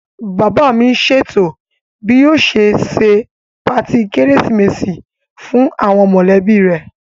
Bàbá mi n ṣètò bí yóò ṣe se patí kérésìmesì fún àwọn mọ̀lẹ́bí rẹ̀